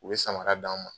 U ye samara d'an ma